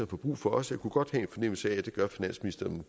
få brug for os jeg kunne godt have en fornemmelse af at det gør finansministeren